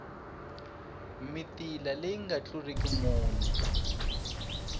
mitila leyi nga tluliki mune